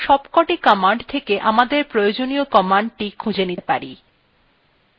এখন আমরা এই সবকটি commands থেকে আমাদের প্রয়োজনীয় commandsটি খুঁজে নিতে পারি